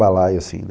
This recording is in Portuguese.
Balaio, assim, né?